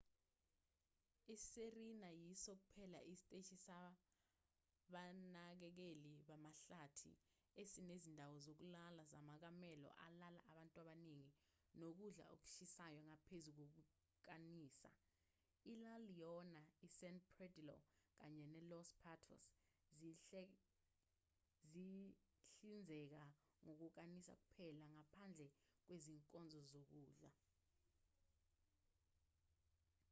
isirena yiso kuphela isiteshi sabanakekeli bamahlathi esinezindawo zokulala zamakamelo alala abantu abaningi nokudla okushisayo ngaphezu kokukanisa ila leona isan pedrillo kanye nelos patos zihlinzeka ngokukanisa kuphela ngaphandle kwezinkonzo zokudla